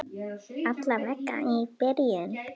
Alla vega í byrjun.